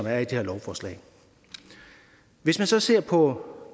er i det her lovforslag hvis man så ser på